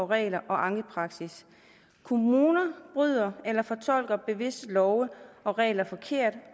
regler og ankepraksis kommuner bryder eller fortolker bevidst love og regler forkert